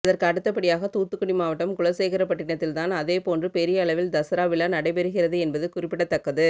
அதற்கு அடுத்தபடியாக தூத்துக்குடி மாவட்டம் குலசேகரப்பட்டிணத்தில் தான் அதே போன்று பெரிய அளவில் தசரா விழா நடைபெறுகிறது என்பது குறிப்பிடத்தக்கது